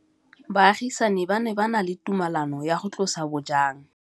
Baagisani ba ne ba na le tumalanô ya go tlosa bojang.